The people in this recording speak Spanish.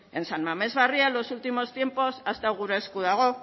en san mamés barria en los últimos tiempos ha estado gure esku dago